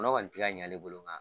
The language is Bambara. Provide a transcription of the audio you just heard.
Kɔnɔ kɔni ti ka ɲ'ale bolo nka